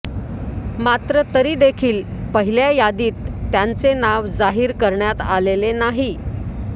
मात्र तरीदेखील पहिल्या यादीत त्यांचे नाव जाहीर करण्यात आलेलें नाही